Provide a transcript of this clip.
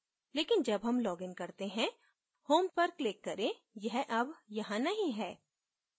लेकिन जब home login करते हैं home पर click करें यह अब यहां नहीं है